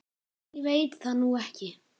Ég veit það nú ekki.